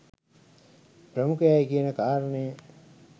ප්‍රමුඛයි කියන කාරණය